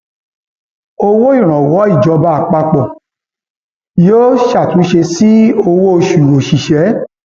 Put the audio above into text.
owó ìrànwọ ìjọba àpapọ yóò ṣàtúnṣe sí owóoṣù òṣìṣẹ